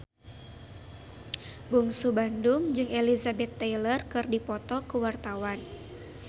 Bungsu Bandung jeung Elizabeth Taylor keur dipoto ku wartawan